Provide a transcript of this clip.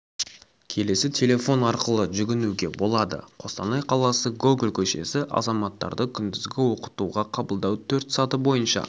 келесі телефон арқылы жүгіңуге болады қостанай қаласы гоголь көшесі азаматтарды күндізгі оқытуға қабылдау төрт саты бойынша